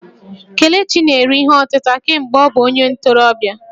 Kelechi na-ere ihe ọtịta kemgbe ọ bụ onye ntorobịa